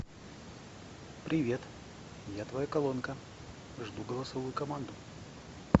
привет я твоя колонка жду голосовую команду